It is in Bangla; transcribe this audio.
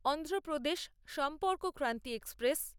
অন্ধ্রপ্রদেশ সম্পর্কক্রান্তি এক্সপ্রেস